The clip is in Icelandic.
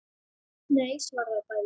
Nei svara þau bæði.